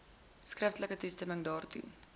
skriftelike toestemming daartoe